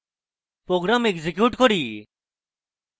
program execute করি